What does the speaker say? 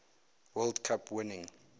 world cup winning